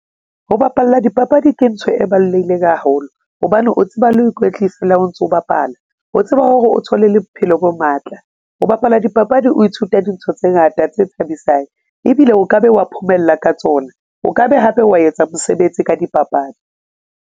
Ho bapalla dipapadi ke ntho e baloleileng haholo hobane o tseba le ho ikwetlisa le ha o ntso bapala o tseba hore o thole le bophelo bo matla. O bapala dipapadi o ithuta dintho tse ngata tse thabisang ebile o kabe wa phomella ka tsona, o ka be hape wa etsa mosebetsi ka dipapadi.